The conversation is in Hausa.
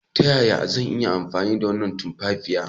Ta yaya zan iya amfani da tumfafiya?